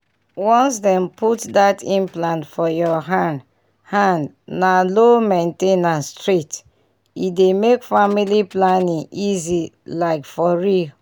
once dem put that implant for your hand hand na low main ten ance straight — e dey make family planning easy like for real!